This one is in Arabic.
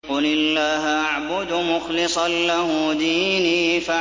قُلِ اللَّهَ أَعْبُدُ مُخْلِصًا لَّهُ دِينِي